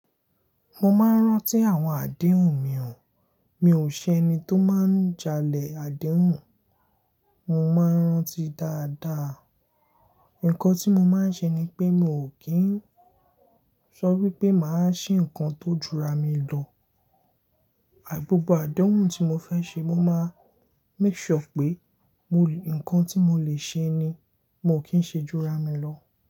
Mo máa ń rántí àwọn àdéhùn mi o, mi ò ṣe ẹni tó máa ń jalè àdéhùn, mo máa ń rántí dáadáa. Ǹkan tí mo máa ń ṣe ni pé mi ò kí ń sọ wípé mà á ṣe ǹkan tó júra mi lọ. Gbògbò àdéhùn tí mo fẹ́ ṣe mo máa make sure pé ǹkan tí mo lè ṣe ni, mo kì ń ṣe júra mi lọ.